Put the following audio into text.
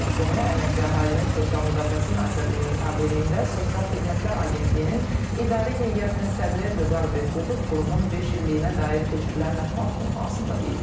Bunu Əmək və Əhalinin Sosial Müdafiəsi Nazirliyinin tabeliyində Sosial Xidmətlər Agentliyinin idarə heyətinin sədri Vüqar Behbudov qurumun beş illiyinə dair keçirilən mətbuat konfransında deyib.